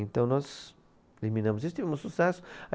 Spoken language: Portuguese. Então nós eliminamos isso, tivemos sucesso.